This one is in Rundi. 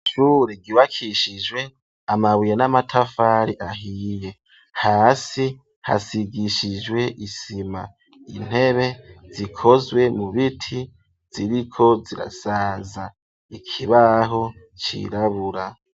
isure gibakishijwe amabuye n'amatafari ahiye hasi hasigishijwe isima intebe zikozwe mu biti ziriko zirasaza ikibaho cirabura.